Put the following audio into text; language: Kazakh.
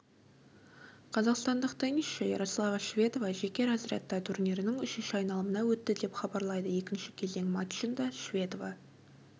қазақстандық теннисші ярослава шведова жеке разрядта турнирінің үшінші айналымына өтті деп хабарлайды екінші кезең матчында шведова